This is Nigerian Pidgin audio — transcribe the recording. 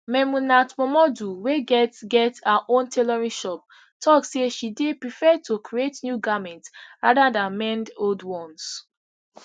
memunat momodu wey get get her own tailoring shop tok say she dey prefer to create new garments rather dan mend old ones